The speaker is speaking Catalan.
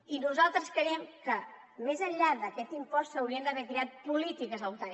i nosaltres creiem que més enllà d’aquest impost s’haurien d’haver creat polítiques al voltant